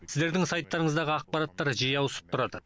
сіздердің сайттарыңыздағы ақпараттар жиі ауысып тұрады